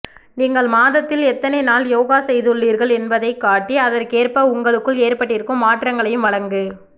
நீங்கள் மாதத்தில் எத்தனை நாள் யோகா செய்துள்ளீர்கள் என்பதைக் காட்டி அதற்கேற்ப உங்களுக்குள் ஏற்பட்டிருக்கும் மாற்றங்களையும் வழங்கு